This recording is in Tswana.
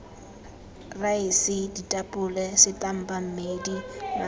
raese ditapole setampa mmedi mabele